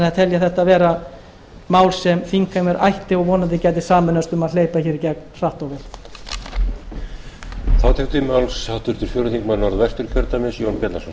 ég þetta vera mál sem þingheimur ætti og vonandi geta sameinast um að hleypa hér í gegn hratt og vel